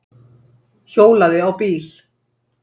Hjólaði á bíl